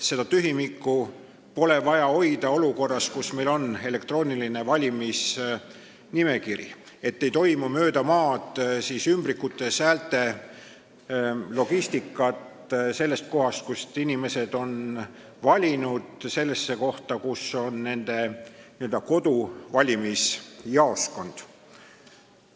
Seda tühimikku pole vaja hoida olukorras, kus on elektrooniline valijate nimekiri ega toimu ümbrikutes olevate häälte logistikat mööda maad, sellest kohast, kus inimesed on valinud, sellesse kohta, kus on nende n-ö koduvalimisjaoskond.